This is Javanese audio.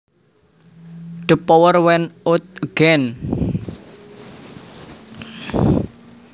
The power went out again